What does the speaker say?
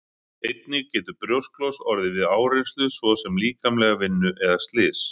Einnig getur brjósklos orðið við áreynslu svo sem líkamlega vinnu eða slys.